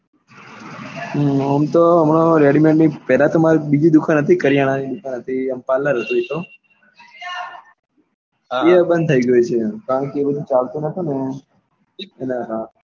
આમ તો અમારે ready made ની પેલા તો માર બીજી દુકાન હતી કારીયાના ની દુકાન હતી આમ parlor એ તો એ બંદ થઇ ગયું ચાલતું નાતુ ને.